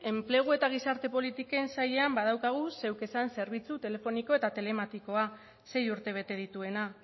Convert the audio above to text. enplegu eta gizarte politiken sailean badaukagu zeuk esan zerbitzu telefoniko eta telematikoa sei urte bete dituena